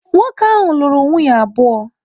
Nwoke ahụ lụrụ nwunye abụọ.